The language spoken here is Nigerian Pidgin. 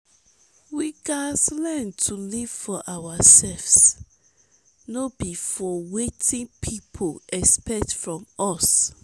we gats learn to live for ourselves no be for wetin pipo expect from us.